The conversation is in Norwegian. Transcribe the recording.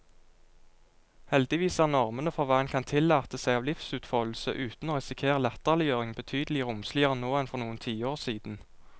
Heldigvis er normene for hva en kan tillate seg av livsutfoldelse uten å risikere latterliggjøring, betydelig romsligere nå enn for noen tiår siden.